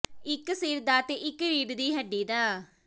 ਇਕ ਸਿਰ ਦਾ ਤੇ ਇਕ ਰੀੜ੍ਹ ਦੀ ਹੱਡੀ ਦਾ